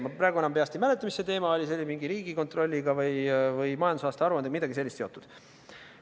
Ma praegu enam peast ei mäleta, mis teema see oli, see oli kuidagi Riigikontrolli või majandusaasta aruandega seotud.